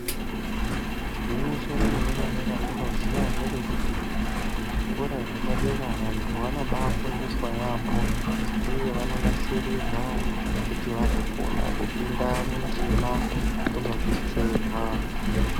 Gwinyiso remene mene randinoziya nderekuti kuzvikora zvepadera vantu vanobaafundiswa yaambo uye vanonasirirwa kuti vazokona kupinda mundima kunobetserwa.